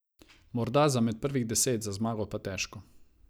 Morda za med prvih deset, za zmago pa težko.